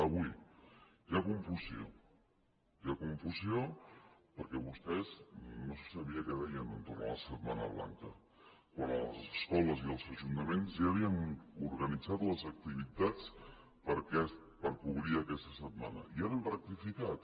avui hi ha confusió hi ha confusió perquè vostès no se sabia què deien entorn a la setmana blanca quan les escoles i els ajuntaments ja havien organitzat les activitats per cobrir aquesta setmana i ara han rectificat